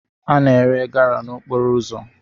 A na-ere gala n'okporo ụzọ